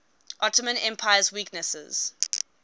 ottoman empire's weaknesses